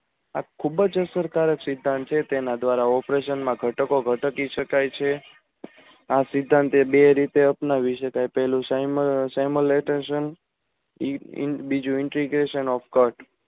આ ખુબજ અસર કારક સિદ્ધાંત છે તેના દવારા operation માં ઘટકો ઘાતકી શકાય છે આ સિદ્ધાંતો બે રીતે અપનાવા